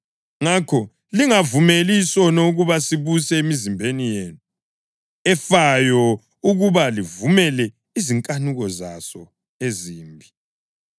Ngakho lingavumeli isono ukuba sibuse imizimba yenu efayo ukuba livumele izinkanuko zaso ezimbi.